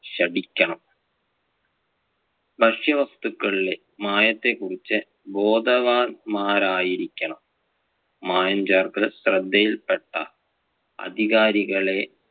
ശഠിക്കണം. ഭക്ഷ്യവസ്തുക്കളിലെ മായത്തെ കുറിച്ച് ബോധവാന്മാരായിരിക്കണം. മായം ചേർക്കൽ ശ്രെദ്ധയിൽ പെട്ടാൽ അധികാരികളെ